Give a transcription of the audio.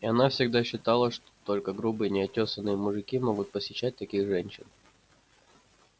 и она всегда считала что только грубые неотёсанный мужики могут посещать таких женщин